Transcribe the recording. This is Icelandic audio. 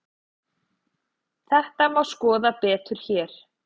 Þetta má skoða betur hér.